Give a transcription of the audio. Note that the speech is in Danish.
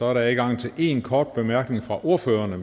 er der adgang til én kort bemærkning fra ordførererne